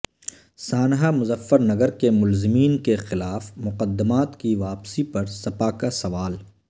سانحہ مظفرنگر کے ملزمین کیخلاف مقدمات کی واپسی پر سپا کا سوال